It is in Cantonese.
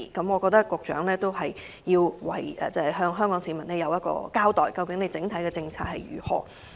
我認為，局長應向市民交代當局就此方面的整體政策為何？